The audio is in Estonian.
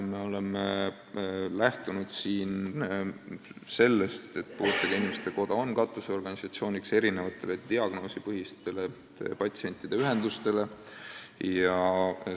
Me oleme lähtunud sellest, et puuetega inimeste koda on mitmete diagnoosipõhiste patsientide ühenduste katusorganisatsioon.